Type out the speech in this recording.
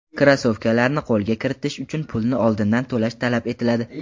Krossovkalarni qo‘lga kiritish uchun pulni oldindan to‘lash talab etiladi.